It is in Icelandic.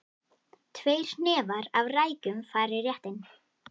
Tveir hnefar af rækjum fara í réttinn.